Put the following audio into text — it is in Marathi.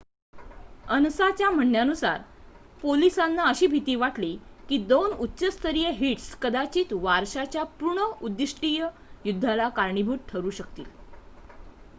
"अनसाच्या म्हणण्यानुसार "पोलिसांना अशी भीती वाटली की दोन उच्च-स्तरीय हिट्स कदाचित वारशाच्या पूर्ण-उद्दीष्टित युद्धाला कारणीभूत ठरू शकतील.